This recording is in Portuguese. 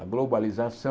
A globalização...